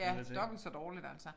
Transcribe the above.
Ja dobbelt så dårligt altså